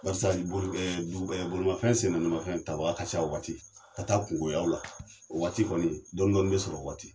Walasa bolimafɛn sennaanimafɛn tabaga ka ca o waati ka taa kunkoyaw la o waati kɔni dɔɔnin-dɔɔnin bɛ sɔrɔ o waati